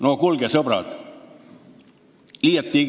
No kuulge, sõbrad, miks?